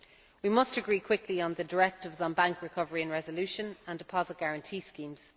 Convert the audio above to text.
We must agree quickly on the directives on bank recovery and resolution and deposit guarantee schemes.